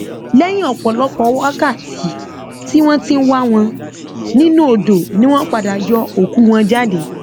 lẹyìn ọpọlọpọ wákàtí tí wọn ti ń wá wọn nínú odò ni wọn padà yọ òkú wọn jáde